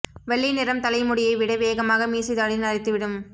வெள்ளை நிறம் தலை முடியை விட வேகமாக மீசை தாடி நரைத்து விடும்